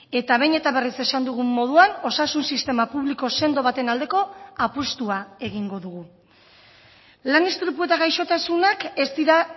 eta behin eta berriz esan dugun moduan osasun sistema publiko sendo baten aldeko apustua egingo dugu lan istripu eta gaixotasunak ez dira